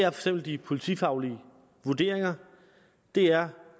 eksempel de politifaglige vurderinger det er